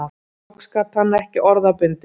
Loks gat hann ekki orða bundist